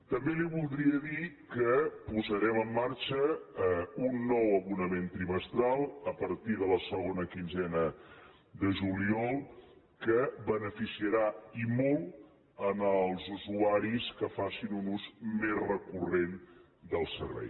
també li voldria dir que posarem en marxa un nou abonament trimestral a partir de la segona quinzena de juliol que beneficiarà i molt els usuaris que facin un ús més recurrent del servei